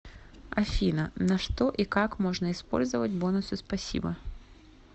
афина на что и как можно использовать бонусы спасибо